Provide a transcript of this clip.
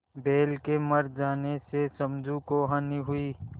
बैल के मर जाने से समझू को हानि हुई